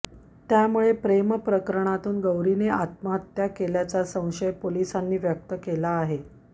त्यामुळे प्रेम प्रकरणातून गौरीने आत्महत्या केल्याचा संशय पोलिसांनी व्यक्त केला आहे